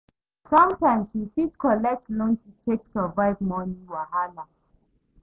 Sometimes we fit collect loan to take survive money wahala